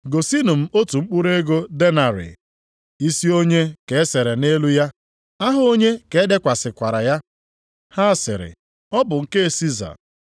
“Gosinụ m otu mkpụrụ ego denarị. Isi onye ka e sere nʼelu ya, aha onye ka e dekwasịkwara ya?” Ha sịrị, “Ọ bụ nke Siza.”